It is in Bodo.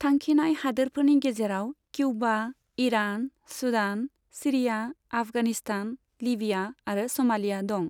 थांखिनाय हादोरफोरनि गेजेराव Cuba, Iran, Sudan, Syria, Afghanistan, Libya आरो स'मालिया दं।